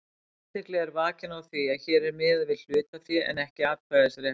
Athygli er vakin á því að hér er miðað við hlutafé en ekki atkvæðisrétt.